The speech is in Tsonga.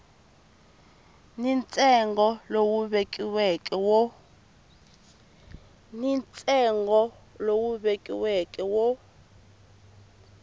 ni ntsengo lowu vekiweke wo